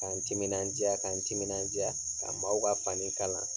K'an timinaja k'an timinaja, ka maaw ka fanni kalan.